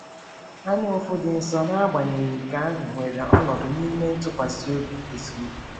Anyaụfụ dị nsọ, n’agbanyeghị nke ahụ, nwere ọnọdụ n’ime ntụkwasị obi eziokwu.